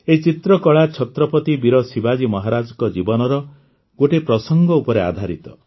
ଏହି ଚିତ୍ରକଳା ଛତ୍ରପତି ବୀର ଶିବାଜୀ ମହାରାଜଙ୍କ ଜୀବନର ଗୋଟିଏ ପ୍ରସଙ୍ଗ ଉପରେ ଆଧାରିତ